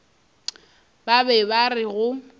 ba be ba re go